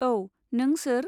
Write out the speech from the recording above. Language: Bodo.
औ, नों सोर?